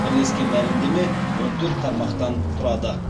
бірлескен мәлімдеме он төрт тармақтан тұрады